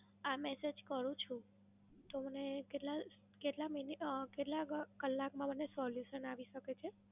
આ Message કરું છું, તો મને કેટલા મિનિટ કેટલા અમ કલાકમાં મને Solution આવી શકે છે?